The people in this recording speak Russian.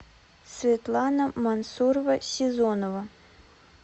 светлана мансурова сезонова